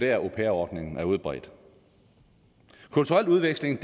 er at au pair ordningen er udbredt kulturel udveksling